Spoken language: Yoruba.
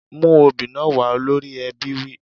Mú obì náà wá! Olórí ẹbí wí.